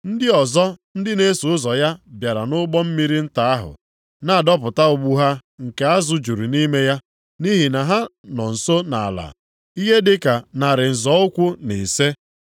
Ndị ọzọ ndị na-eso ụzọ ya bịara nʼụgbọ mmiri nta ahụ, na-adọpụta ụgbụ ha nke azụ juru nʼime ya, nʼihi na ha nọ nso nʼala ihe dị ka narị nzọ ụkwụ na ise. + 21:8 Maọbụ, narị kubit abụọ